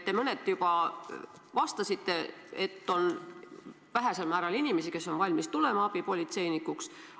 Te mõneti juba vastasite, et on vähesel määral inimesi, kes on valmis hakkama abipolitseinikuks.